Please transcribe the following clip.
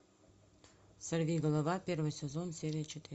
сорви голова первый сезон серия